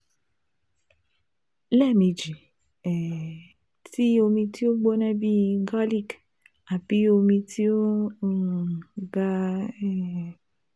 Lẹmeji um ti omi ti o gbona bii garlic ati omi ti o um ga um